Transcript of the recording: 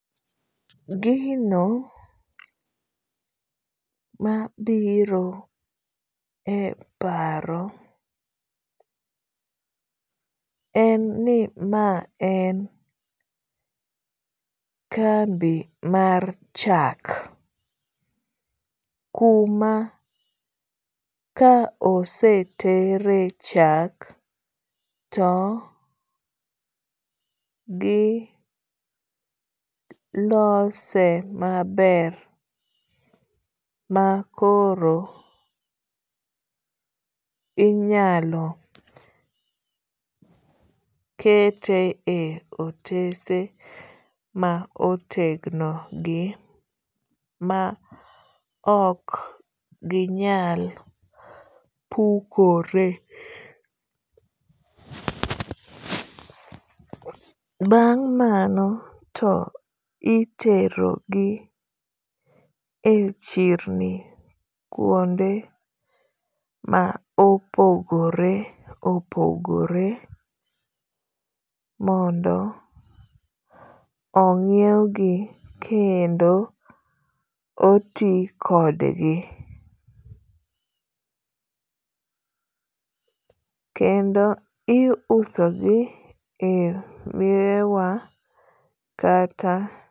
gino mabiro e paro en ni ma en kambi mar chak kuma ka osetere chak to gi lose maber makoro inyalo kete e otese ma otegno gi ma ok ginyal pukore ,bang' mano to itero gi e chirni kuonde ma opogore opogore mondo ingiew gi kendo oti kodgi kendo iuso gi e mierewa kata